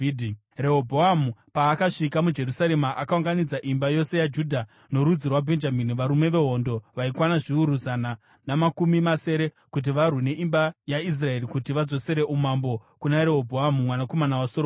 Rehobhoamu paakasvika muJerusarema, akaunganidza imba yose yaJudha norudzi rwaBhenjamini, varume vehondo vaikwana zviuru zana namakumi masere, kuti varwe neimba yaIsraeri kuti vadzosere umambo kuna Rehobhoamu mwanakomana waSoromoni.